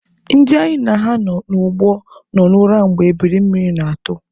Ndị anyị na ha nọ n'ụgbọ nọ n'ura mgbe ebiri mmiri na-atụ.